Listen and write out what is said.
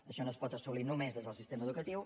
això no es pot assolir només des del sistema educatiu